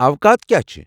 اوقات كیاہ چھِ ؟